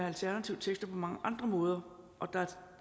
alternative tekster på mange andre måder og der er